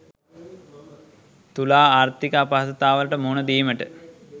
තුලා ආර්ථික අපහසුතාවලට මුහුණ දීමට